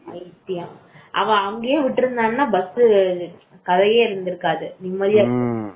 அவ அங்கேயே விட்டிருந்தான்னா bus கதையே இருந்திருக்காது